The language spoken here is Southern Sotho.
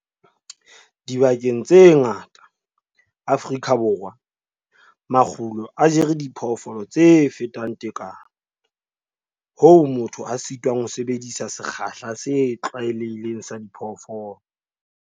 Dibakeng tse ngata tsa Afrika Borwa, makgulo a jere diphoofolo tse fetang tekano hoo motho a sitwang ho sebedisa sekgahla se tlwaelehileng sa diphoofolo.